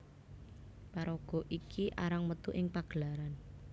Paraga iki arang metu ing pagelaran